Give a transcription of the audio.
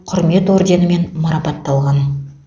құрмет орденімен марапатталған